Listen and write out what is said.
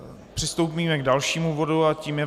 Přistoupíme k dalšímu bodu a tím je